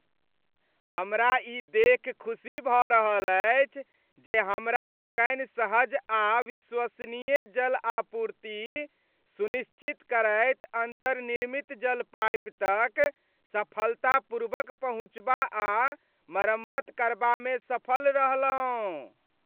हमरा ई देखि खुशी भऽ रहल अछि जे हमरा लोकनि सहज आ विश्वसनीय जल आपूर्ति सुनिश्चित करैत अन्तर्निर्मित जल पाइप तक सफलतापूर्वक पहुँचबा आ मरम्मत करबामे सफल रहलहुँ।